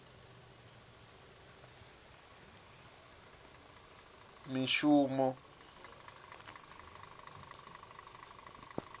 mishumo